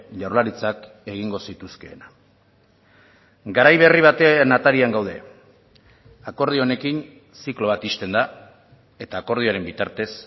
jaurlaritzak egingo zituzkeena garai berri baten atarian gaude akordio honekin ziklo bat ixten da eta akordioaren bitartez